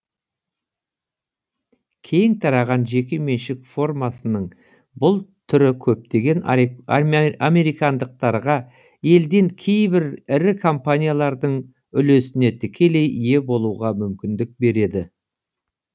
кең тараған жеке меншік формасының бүл түрі көптеген американдықтарға елден кейбір ірі компаниялардың үлесіне тікелей ие болуға мүмкіндік береді